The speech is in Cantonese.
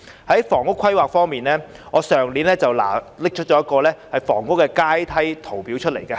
在房屋規劃方面，我去年曾拿出一張房屋階梯圖表。